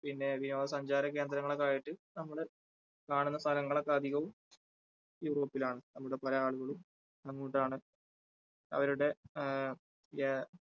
പിന്നെ വിനോദസഞ്ചാര കേന്ദ്രങ്ങൾ ഒക്കെ ആയിട്ട് നമ്മൾ കാണുന്ന സ്ഥലങ്ങൾ ഒക്കെ അധികവും യൂറോപ്പിലാണ് നമ്മുടെ പല ആളുകളും എന്താണ് അവരുടെ ആ ആ